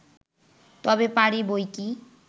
তবে পারি বইকি